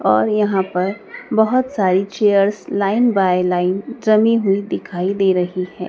और यहां पर बहोत सारी चेयर्स लाइन बाई लाइन जमी हुई दिखाई दे रही हैं।